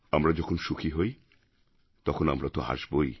আমরা যখন সুখী হই তখন আমরা তো হাসবোই